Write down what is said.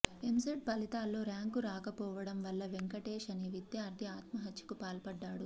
ఎంసెట్ ఫలితాల్లో ర్యాంకు రాకపోవడం వల్ల వెంకటేశ్ అనే విద్యార్థి ఆత్మహత్యకు పాల్పడ్డాడు